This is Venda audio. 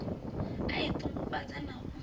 i a ṱungufhadza na u